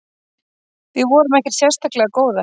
Við vorum ekkert sérstaklega góðar.